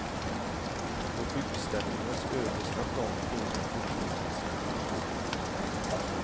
På byggställningens översta plan låg de på knä med sina hackor.